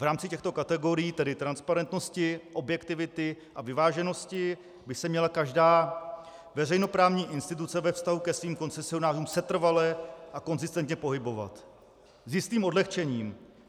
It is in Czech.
V rámci těchto kategorií, tedy transparentnosti, objektivity a vyváženosti, by se měla každá veřejnoprávní instituce ve vztahu ke svým koncesionářům setrvale a konzistentně pohybovat s jistým odlehčením.